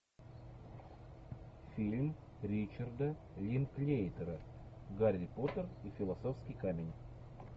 фильм ричарда линклейтера гарри поттер и философский камень